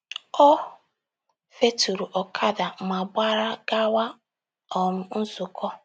O feturu ọkada ma gbara gawa um nzụkọ.